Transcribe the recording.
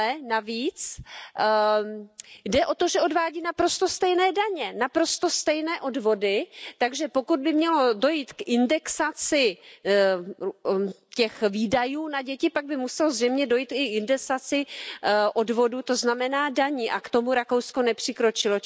Navíc jde o to, že odvádí naprosto stejné daně, naprosto stejné odvody, takže pokud by mělo dojít k indexaci těch výdajů na děti, pak by muselo zřejmě dojít i k indexaci odvodů, to znamená daní a k tomu Rakousko nepřikročilo.